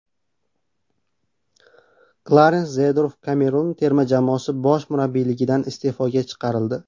Klarens Zeedorf Kamerun terma jamoasi bosh murabbiyligidan iste’foga chiqarildi.